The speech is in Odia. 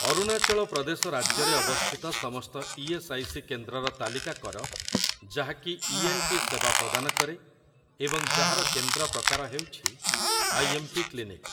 ଅରୁଣାଚଳ ପ୍ରଦେଶ ରାଜ୍ୟରେ ଅବସ୍ଥିତ ସମସ୍ତ ଇ.ଏସ୍. ଆଇ. ସି. କେନ୍ଦ୍ରର ତାଲିକା କର ଯାହାକି ଇଏନ୍‌ଟି ସେବା ପ୍ରଦାନ କରେ ଏବଂ ଯାହାର କେନ୍ଦ୍ର ପ୍ରକାର ହେଉଛି ଆଇଏମ୍‌ପି କ୍ଲିନିକ୍ ।